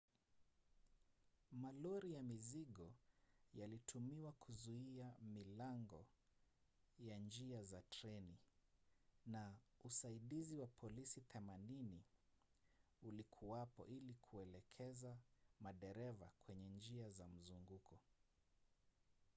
malori ya mizigo yalitumiwa kuzuia milango ya njia za treni na usaidizi wa polisi 80 ulikuwapo ili kuelekeza madereva kwenye njia za mzunguko